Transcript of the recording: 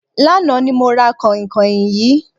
Lánàá ni mo ra kànhìnkànhìn yìí.